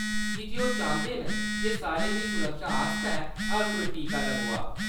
कीजे ओह्‌‌ चांह्‌‌‌दे न जे सारें दी सुरक्षा आस्तै हर कोई टीका लगोआऽ।